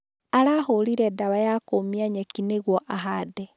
Arahũrire dawa ya kũmia nyeki nĩguo ahande